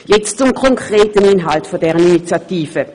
Nun zum konkreten Inhalt dieser Initiative.